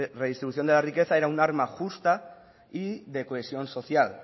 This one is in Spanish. redistribución de la riqueza era un arma justa y de cohesión social